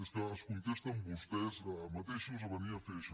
és que es contesten vostès mateixos a venir a fer això